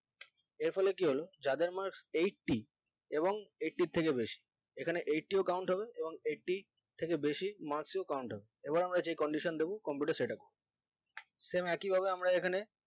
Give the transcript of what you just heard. এর ফলে কি হলো যাদের marks eighty এবং eighty এর থেকে বেশি এখানে eighty ও count হবে এবং eighty থেকে বেশি marks ও count হবে এবার আমরা সে condition তাকে computer শেখাবো same একই ভাবে আমরা এখানে